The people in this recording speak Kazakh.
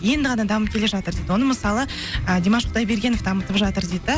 енді ғана дамып келе жатыр дейді оны мысалы ы димаш құдайбергенов дамытып жатыр дейді де